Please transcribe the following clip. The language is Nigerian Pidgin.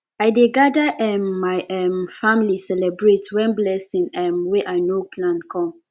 i dey gada um my um family celebrate wen blessing um wey i no plan come